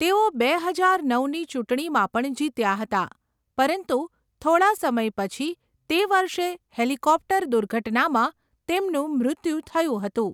તેઓ બે હજાર નવની ચૂંટણીમાં પણ જીત્યા હતા, પરંતુ થોડાં સમય પછી તે વર્ષે હેલીકોપ્ટર દુર્ઘટનામાં તેમનું મૃત્યુ થયું હતું